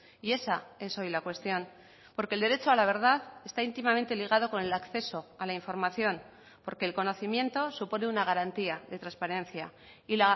y esa es hoy la cuestión porque el derecho a la verdad está íntimamente ligado con el acceso a la información porque el conocimiento supone una garantía de transparencia y